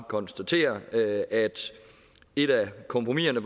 konstatere at at et af kompromiserne